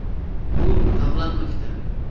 “Bu davlat maktabi.